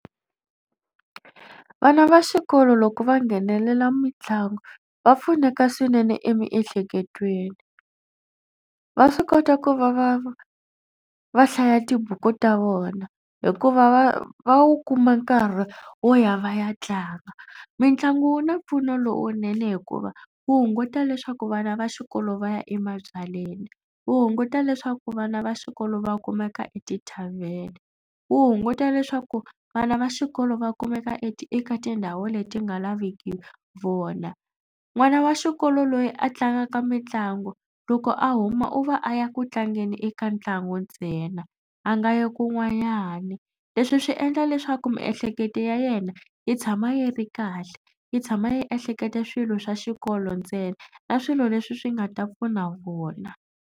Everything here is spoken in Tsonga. Vana va xikolo loko va nghenelela mitlangu va pfuneka swinene emiehleketweni. Va swi kota ku va va va hlaya tibuku ta vona hikuva va va wu kuma nkarhi wo ya va ya tlanga. Mitlangu wu na mpfuno lowunene hikuva wu hunguta leswaku vana va xikolo va ya emabyalweni. Wu hunguta leswaku vana va xikolo va kumeka eti-tarven. Wu hunguta leswaku vana va xikolo va kumeka eka tindhawu leti nga laveki vona. N'wana wa xikolo loyi a tlangaka mitlangu loko a huma u va a ya ku tlangeni eka ntlangu ntsena a nga yo kun'wanyana. Leswi swi endla leswaku miehleketo ya yena yi tshama yi ri kahle yi tshama yi ehlekete swilo swa xikolo ntsena na swilo leswi swi nga ta pfuna vona.